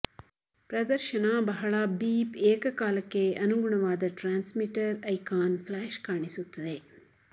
ಪ್ರದರ್ಶನ ಬಹಳ ಬೀಪ್ ಏಕಕಾಲಕ್ಕೆ ಅನುಗುಣವಾದ ಟ್ರಾನ್ಸ್ಮಿಟರ್ ಐಕಾನ್ ಫ್ಲಾಶ್ ಕಾಣಿಸುತ್ತದೆ